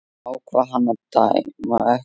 Ákvað hann að dæma ekki?